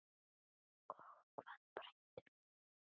Og hvað gera bændur núna?